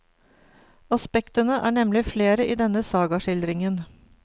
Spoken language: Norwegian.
Aspektene er nemlig flere i denne sagaskildringen.